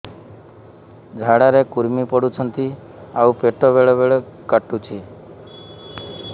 ଝାଡା ରେ କୁର୍ମି ପଡୁଛନ୍ତି ଆଉ ପେଟ ବେଳେ ବେଳେ କାଟୁଛି